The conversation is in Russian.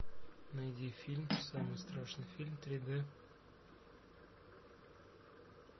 найди фильм самый страшный фильм три д